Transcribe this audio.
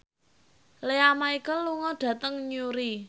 Lea Michele lunga dhateng Newry